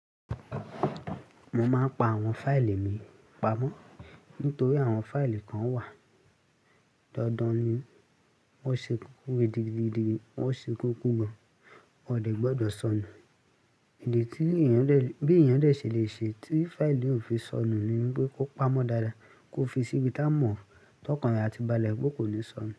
Mo máa ń pa àwọn fáìlì mi pamọ́ nítorí àwọn fáìlì kan wà dandan ni wọ́n ṣe koko, gidigidi wọ́n ṣe koko gan. Wọ́n ò dè gbọdọ̀ sọnù. Èdè tí èèyàn dé, bí èèyàn dẹ̀ ṣe lè ṣe tí fáìlì ò fi sọnù ni pé kó pamọ́ dáadáa, kó fi síbì tà mọ, tọkàn rẹ̀ àti balẹ̀ gbó kò ní sọnù.